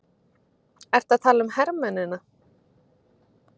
Ertu að tala um hermennina?